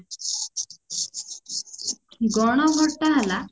ଗଣ vote ଟା ହେଲା